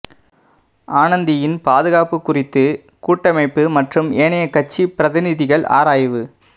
அனந்தியின் பாதுகாப்பு குறித்து கூட்டமைப்பு மற்றும் ஏனைய கட்சிப் பிரதிநிதிகள் ஆராய்வு